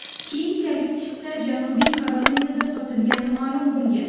Keyinchalik chipta Janubiy Karolinada sotilgani ma’lum bo‘lgan.